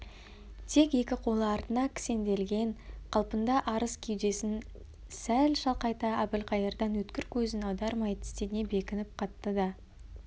тек екі қолы артына кісенделген қалпында арыс кеудесін сәл шалқайта әбілқайырдан өткір көзін аудармай тістене бекініп қатты да